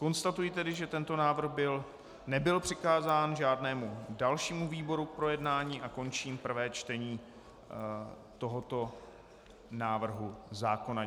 Konstatuji tedy, že tento návrh nebyl přikázán žádnému dalšímu výboru k projednání, a končím prvé čtení tohoto návrhu zákona.